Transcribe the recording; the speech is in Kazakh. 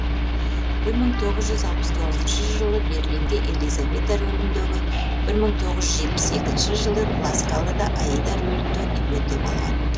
бір мың тоғыз жүз алпыс тоғызыншы жылы берлинде елизавета рөліндегі бір мың тоғыз жүз жетпіс екінші жылы ла скалада аида рөлінде дебюті болған